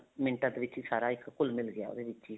ਮਿੰਟਾਂ ਦੇ ਵਿੱਚ ਸਾਰਾ ਇੱਕ ਘੁੱਲ ਮਿੱਲ ਗਿਆ ਉਹਦੇ ਵਿੱਚ ਹੀ